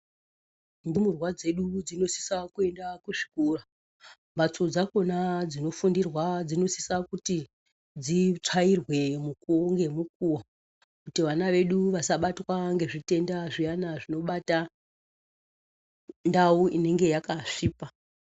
Ndumurwa dzedu dzinosisa kuenda kuzvikora. Mbatso dzakona dzinofundirwa dzinosisa kuti dzitsvairwe mukuwo ngemukuwo. Kuti vana vedu vasabatwa ngezvitenda zviyana zvinobata ndau inenge yakasvipa.